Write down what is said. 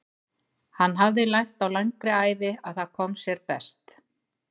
Hann hafði lært á langri ævi að það kom sér best.